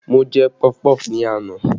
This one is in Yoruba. Mo jẹ pọfupọ́ọ̀fù ni àná